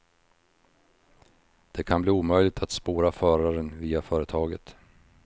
Det kan bli omöjligt att spåra föraren via företaget.